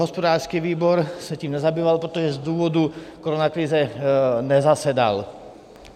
Hospodářský výbor se tím nezabýval, protože z důvodu koronakrize nezasedal.